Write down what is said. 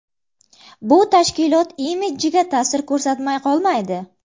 Bu tashkilot imidjiga ta’sir ko‘rsatmay qolmaydi.